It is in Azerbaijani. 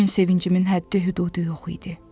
O gün sevincimin həddi-hüdudu yox idi.